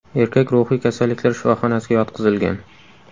Erkak ruhiy kasalliklar shifoxonasiga yotqizilgan.